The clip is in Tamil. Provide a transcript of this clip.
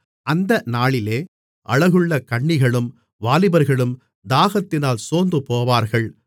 அந்த நாளிலே அழகுள்ள கன்னிகளும் வாலிபர்களும் தாகத்தினால் சோர்ந்துபோவார்கள்